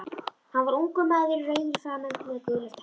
Hann var ungur maður, rauður í framan með gular tennur.